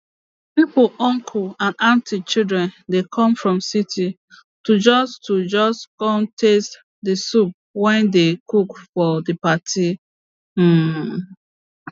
pipo uncle and aunty children dey come from city to just to just con taste the soup wey dey cook for the party um